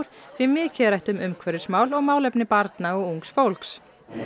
því mikið er rætt um umhverfismál og málefni barna og ungs fólks